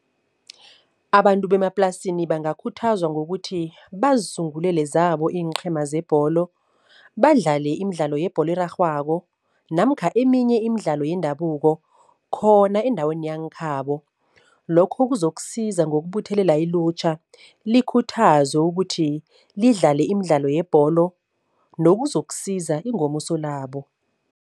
Abantu bemaplasini bangakhuthazwa ngokuthi, bazisungulele zabo iinqhema zebholo. Badlale imidlalo yebholo erarhwako namkha eminye imidlalo yendabuko khona endaweni yangekhabo. Lokho kuzokusiza ngokubuthelela ilutjha likhuthazwe ukuthi lidlale imidlalo yebholo nokuzokusiza ingomuso labo.